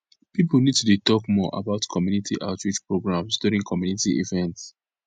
people need to dey talk more about community outreach programs during community events